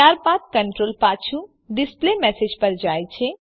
ત્યારબાદ કન્ટ્રોલ પાછું ડિસ્પ્લેમેસેજ પર જાય છે